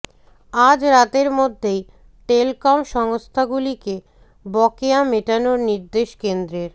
আজ রাতের মধ্যেই টেলকম সংস্থাগুলিকে বকেয়া মিটানোর নির্দেশ কেন্দ্রের